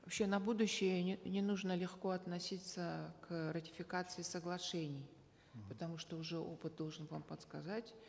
вообще на будущее не нужно легко относиться к ратификации соглашений потому что уже опыт должен вам подсказать